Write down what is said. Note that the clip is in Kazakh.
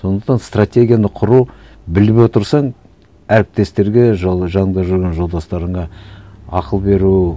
сондықтан стратегияны құру біліп отырсаң әріптестерге жанында жүрген жолдастарыңа ақыл беру